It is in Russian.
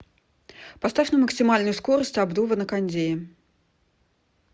поставь на максимальную скорость обдува на кондее